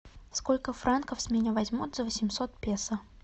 сколько франков с меня возьмут за восемьсот песо